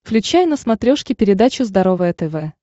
включай на смотрешке передачу здоровое тв